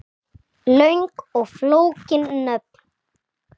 Löng og flókin nöfn